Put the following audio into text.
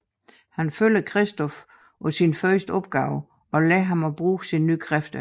Han følger Christof på sin første opgave og lære ham at bruge sine nye kræfter